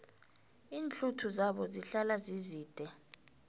iinhluthu zabo zihlala zizide